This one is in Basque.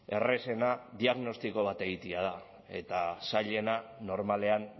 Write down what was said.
errazena diagnostiko bat egitea da eta zailena normalean